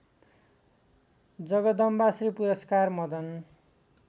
जगदम्बाश्री पुरस्कार मदन